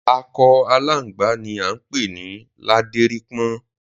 Akọ aláǹgbá ni a ń pè ní ládérípọ́n